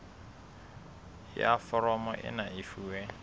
ya foromo ena e fuwe